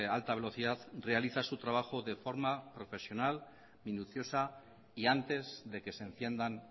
alta velocidad realiza su trabajo de forma profesional minuciosa y antes de que se enciendan